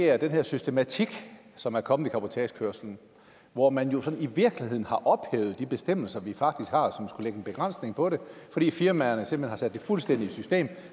er den her systematik som er kommet i cabotagekørslen hvor man i virkeligheden har ophævet de bestemmelser vi faktisk har og som skulle lægge en begrænsning på det fordi firmaerne simpelt hen har sat det fuldstændig i system